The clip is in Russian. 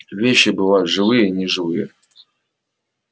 вещи бываю живые и неживые